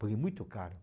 Foi muito caro.